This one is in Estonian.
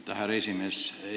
Aitäh, härra esimees!